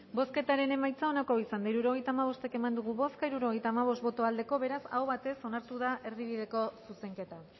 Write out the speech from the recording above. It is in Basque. bozketaren emaitza onako izan da hirurogeita hamabost eman dugu bozka hirurogeita hamabost boto aldekoa beraz aho batez onartu da erdibideko zuzenketa